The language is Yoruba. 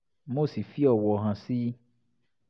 mo sì fi ọ̀wọ̀ hàn sí i